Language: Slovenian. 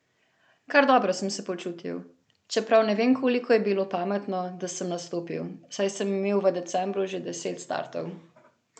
Kar dobro sem se počutil, čeprav ne vem koliko je bilo pametno, da sem nastopil, saj sem imel v decembru že deset startov.